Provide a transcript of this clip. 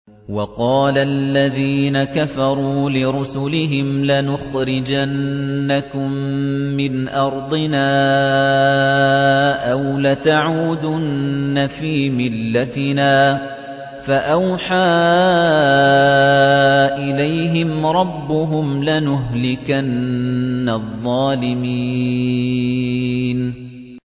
وَقَالَ الَّذِينَ كَفَرُوا لِرُسُلِهِمْ لَنُخْرِجَنَّكُم مِّنْ أَرْضِنَا أَوْ لَتَعُودُنَّ فِي مِلَّتِنَا ۖ فَأَوْحَىٰ إِلَيْهِمْ رَبُّهُمْ لَنُهْلِكَنَّ الظَّالِمِينَ